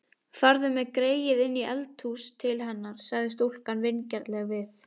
Farðu með greyið inní eldhús til hennar, sagði stúlkan vingjarnlega við